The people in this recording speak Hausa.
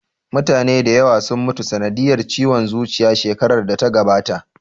Mutane da yawa sun mutu sanadiyar ciwon zuciya shekarar da ta gabata